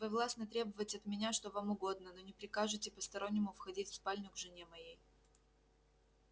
вы властны требовать от меня что вам угодно но не прикажите постороннему входить в спальню к жене моей